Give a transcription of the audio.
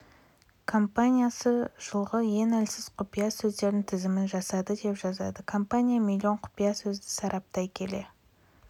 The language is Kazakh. компаниясы жылғы ең әлсіз құпия сөздердің тізімін жасады деп жазады компания миллион құпия сөзді сараптай келе